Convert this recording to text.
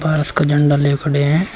पारस का झंडा ले खड़े हैं।